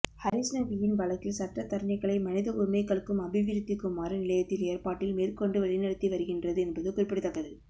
ஹரிஸ்ணவியின் வழக்கில் சட்டத்தரணிகளை மனித உரிமைகளுக்கும் அபிவிருத்திக்குமாறு நிலையத்தின் ஏற்பாட்டில் மேற்கொண்டு வழிநடாத்தி வருகின்றது என்பது குறிப்பிடத்தக்கது